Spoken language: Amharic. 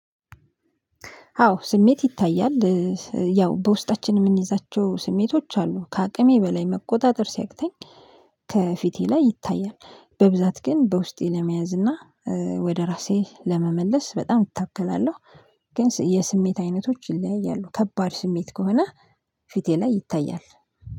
አዎ ስሜት ይታያል ያው በውስጣችን የምንይዛቸው ስሜቶች አሉ ከአቅሜ በላይ መቆጣጠር ሲያቅተኝ ከፊቴ ላይ ይታያል። በብዛት ግን በውስጤ ለመያዝ እና ወደ ራሴ ለመመለስ በጣም እታገላለሁ። ግን የስሜት አይነቶች ይለያያሉ ከባድ ስሜት ከሆነ ፊቴ ላይ ይታያል።